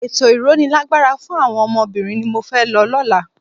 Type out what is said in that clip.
Ètò ìrónilágbára fún àwọn obìnrin ni mo fẹ́ lọ lọ́la.